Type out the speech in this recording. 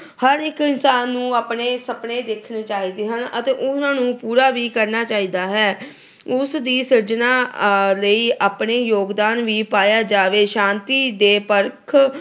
ਹਰ ਇੱਕ ਇਨਸਾਨ ਨੂੰ ਆਪਣੇ ਸੁਪਨੇ ਦੇਖਣੇ ਚਾਹੀਦੇ ਹਨ ਅਤੇ ਉਹਨਾਂ ਨੂੰ ਪੂਰਾ ਵੀ ਕਰਨਾ ਚਾਹੀਦਾ ਹੈ। ਉਸ ਦੀ ਸਿਰਜਣਾ ਲਈ ਆਪਣਾ ਯੋਗਦਾਨ ਵੀ ਪਾਇਆ ਜਾਵੇ। ਸ਼ਾਂਤੀ ਦੇ ਪਥ